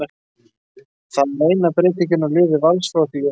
Það er eina breytingin á liði Vals frá því í Ólafsvík.